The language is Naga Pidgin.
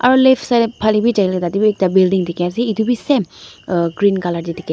aro left side phale bi jailae ekta building dikhiase edu bi same green colour --